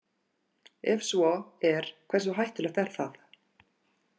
Ef svo er hversu hættulegt er það?